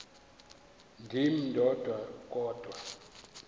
ndim ndodwa kodwa